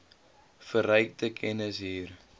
verrykte kennis hier